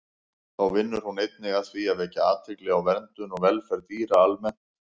Þá vinnur hún einnig að því að vekja athygli á verndun og velferð dýra almennt.